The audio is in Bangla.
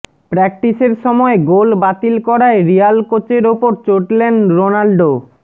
প্র্যাকটিসের সময় গোল বাতিল করায় রিয়াল কোচের ওপর চটলেন রোনাল্ডো